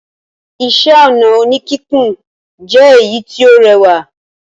Iṣẹ́-ọnà oníkíkùn jẹ èyí tí ó rẹwà.